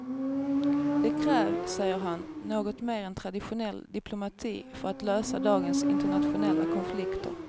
Det krävs, säger han, något mer än traditionell diplomati för att lösa dagens internationella konflikter.